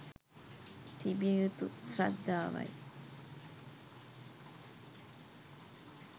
තිබිය යුතු ශ්‍රද්ධාවයි.